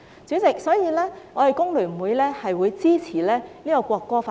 主席，所以工聯會支持《條例草案》三讀。